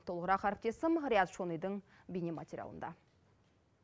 толығырақ әріптесім риат шонидың бейнематериалында